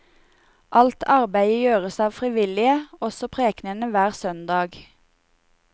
Alt arbeide gjøres av frivillige, også prekenene hver søndag.